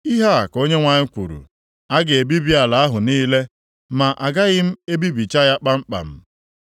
Ihe a ka Onyenwe anyị kwuru, “A ga-ebibi ala ahụ niile, ma agaghị m ebibicha ya kpamkpam.